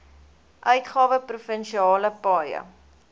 uitgawe provinsiale paaie